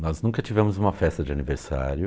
Nós nunca tivemos uma festa de aniversário.